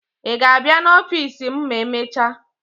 Ị ga-abịa n'ọfiisi m ma e mecha?